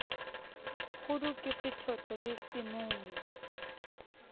kgudu ke sethoto le semumu